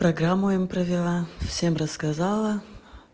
программу ему провила всем рассказала